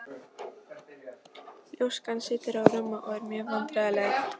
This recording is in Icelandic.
Ljóskan situr á rúmi og er mjög vandræðaleg.